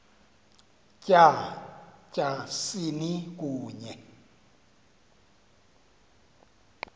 tya tyasini kunye